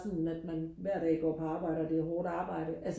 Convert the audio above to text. sådan at man hver dag går på arbejde og det er hårdt arbejde